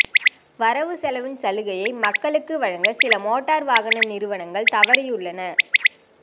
வரவுசெலவின் சலுகையை மக்களுக்கு வழங்க சில மோட்டார் வாகன நிறுவனங்கள் தவறியுள்ளன